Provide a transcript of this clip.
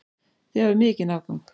Þið hafið mikinn afgang.